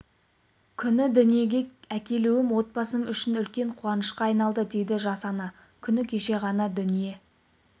күні дүниеге әкелуім отбасым үшін үлкен қуанышқа айналды дейді жас ана күні кеше ғана дүние